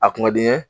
A kun ka di n ye